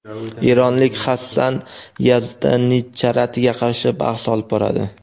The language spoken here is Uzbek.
eronlik Hassan Yazdanicharatiga qarshi bahs olib boradi;.